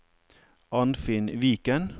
Arnfinn Viken